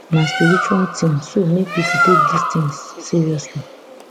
na spiritual tin so make pipo take dis tins seriously